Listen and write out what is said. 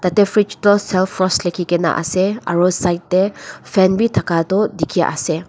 etu fridge toh celfrost lukhe kina ase aru side te fan bhi thaka tu dekhi ase.